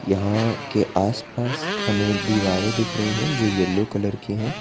यहां के आस पास हमें दीवारे दिख रही हैं जो येलो कलर की हैं।